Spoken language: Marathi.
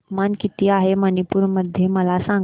तापमान किती आहे मणिपुर मध्ये मला सांगा